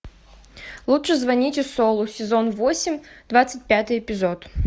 лучше звоните солу сезон восемь двадцать пятый эпизод